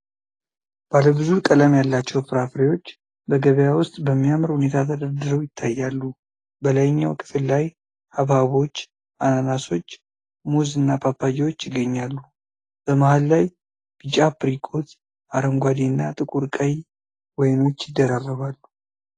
ባለ ብዙ ቀለም ያላቸው ፍራፍሬዎች በገበያ ውስጥ በሚያምር ሁኔታ ተደርድረው ይታያሉ። በላይኛው ክፍል ላይ ሐብሐቦች፣ አናናሶች፣ ሙዝ እና ፓፓያዎች ይገኛሉ። በመሃል ላይ ቢጫ አፕሪኮት፣ አረንጓዴ እና ጥቁር ቀይ ወይኖች ይደራረባሉ።